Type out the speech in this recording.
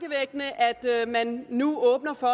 det er at man nu åbner for